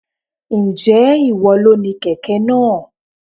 Ǹjẹ́ ìwọ lo ni kẹ̀kẹ́ náà?